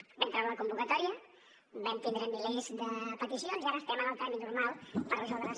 vam treure la convocatòria vam tindre milers de peticions i ara estem en el tràmit normal per resoldre’s